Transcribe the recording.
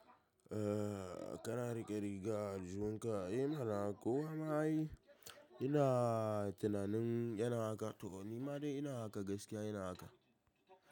Eh, kana rike riga aljihun ka, eh mana kowa ma ai ina tunanin yana haka, tu kum ni ma dai ina haka gaskiya ina haka.